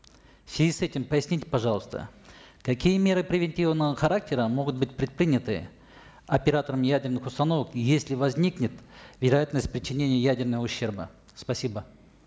в связи с этим поясните пожалуйста какие меры превентивного характера могут быть предприняты оператором ядерных установок если возникнет вероятность причинения ядерного ущерба спасибо